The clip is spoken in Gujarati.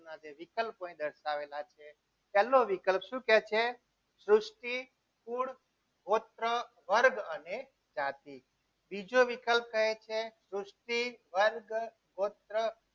માં જે વિકલ્પ દર્શાવેલા છે પહેલો વિકલ્પ શું કહે છે સૃષ્ટિ કુલ ગોત્ર વર્ગ અને જાતિ બીજો વિકલ્પ કહે છે. સૃષ્ટિ વર્ગ ગોત્ર